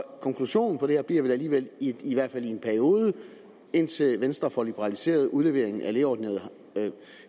konklusionen på det her bliver vel alligevel i hvert fald i en periode indtil venstre får liberaliseret udleveringen af lægeordineret